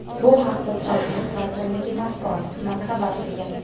Bu haqda Transport vazirligi matbuot xizmati xabar qilgan .